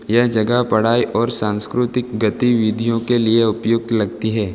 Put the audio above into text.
यह जगह पढ़ाई और सांस्कृतिक गतिविधियों के लिए उपयुक्त लगती है।